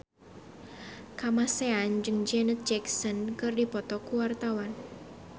Kamasean jeung Janet Jackson keur dipoto ku wartawan